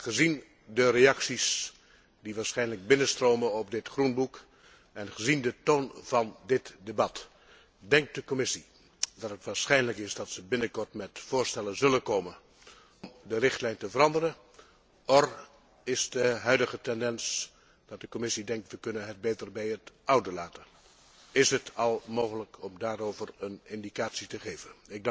Maar gezien de reacties die waarschijnlijk binnenstromen op dit groenboek en gezien de toon van dit debat, denkt de Commissie dat het waarschijnlijk is dat ze binnenkort met voorstellen zal komen om de richtlijn te veranderen, of is de huidige tendens dat de Commissie denkt dat we het beter bij het oude kunnen laten? Is het al mogelijk om daarover een indicatie te geven?